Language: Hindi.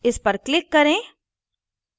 इस पर click करें